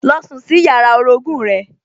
Lọ sùn sí yàrá orogún-ùn rẹ